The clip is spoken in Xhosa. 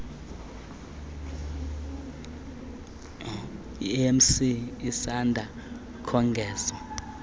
emc isanda kongezwa